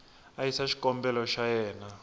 a yisa xikombelo xa yena